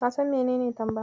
Ka san menene tamba?